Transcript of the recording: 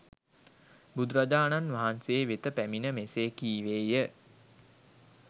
බුදුරජාණන් වහන්සේ වෙත පැමිණ මෙසේ කීවේය